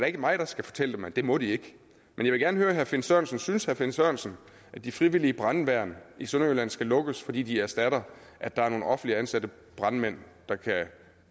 ikke mig der skal fortælle dem at det må de ikke jeg vil gerne høre herre finn sørensen synes herre finn sørensen at de frivillige brandværn i sønderjylland skal lukkes fordi de erstatter at der er nogle offentligt ansatte brandmænd der kan